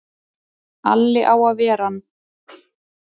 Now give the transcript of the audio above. Alli á að ver ann!